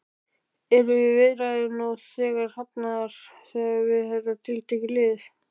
Eru viðræður nú þegar hafnar við þetta tiltekna lið?